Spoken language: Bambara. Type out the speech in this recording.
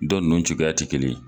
Dɔ ninnu cogoya tɛ kelen ye.